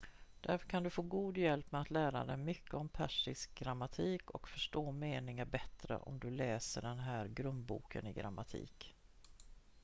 därför kan du få god hjälp med att lära dig mycket om persisk grammatik och förstå meningar bättre om du läser den här grundboken i grammatik